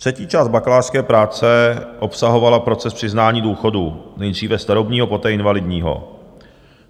Třetí část bakalářské práce obsahovala proces přiznání důchodu, nejdříve starobního, poté invalidního.